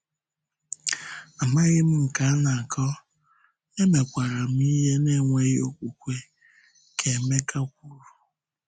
“Amaghị m nke a na-akọ, emekwarám ihe n’enweghị okwukwe,” ka Emeka kwuru.